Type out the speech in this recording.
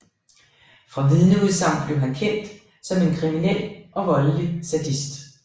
Fra vidneudsagn blev han kendt som en kriminel og voldelig sadist